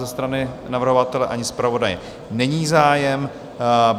Ze strany navrhovatele ani zpravodaje není zájem.